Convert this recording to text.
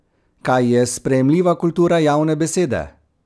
Kaj je sprejemljiva kultura javne besede?